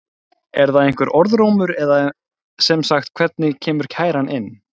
Er það einhver orðrómur eða sem sagt hvernig kemur kæran inn?